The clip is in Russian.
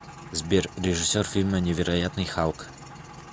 сбер режиссер фильма невероятный халк